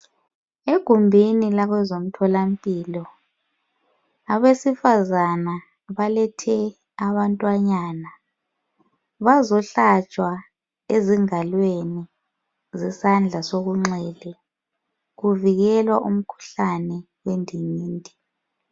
Egumbini labezomtholampilo , abesifazana balethe abantwanyana bazohlatshwa ezingalweni zesandla sokunxele kuvikelwa umkhuhlane wendingindi.